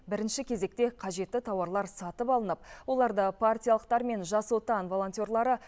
бірінші кезекте қажетті тауарлар сатып алынып оларды партиялықтар мен жас отан волонтерлары